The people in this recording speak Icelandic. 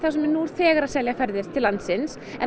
sem eru nú þegar að selja ferðir til landsins en